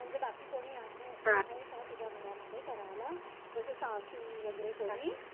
म्हणजे बाकी कोणी आहे आहे का तुझ्या घरामध्ये करायला? जसं सासू वगैरे कोणी?